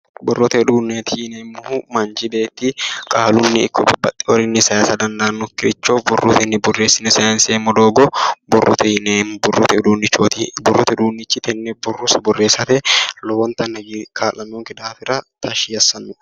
Borrote udunneeti yineemmohu manchi beetti qaalunni ikko babbaxxeyoorinni sayiisa dandaannokkiricho borrotenni borreessine sayinseemmo doogo borrote yineemmo borrote uduunnichi tenne borro borreessate lowontanni tashshi assanno